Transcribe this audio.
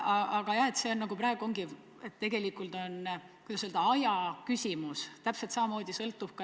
Aga jah, see on praegu, kuidas öelda, aja küsimus.